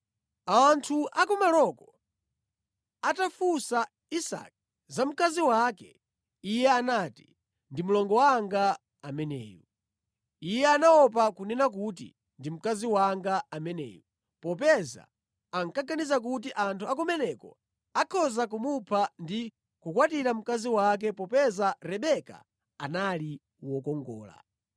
Anthu akumaloko atafunsa Isake za mkazi wake, iye anati, “Ndi mlongo wanga ameneyu.” Iye anaopa kunena kuti, “Ndi mkazi wanga ameneyu,” popeza ankaganiza kuti anthu akumeneku akhoza kumupha ndi kukwatira mkazi wake popeza Rebeka anali wokongola.